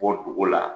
Bɔ dogo la